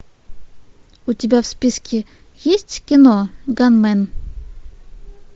у тебя в списке есть кино ганмен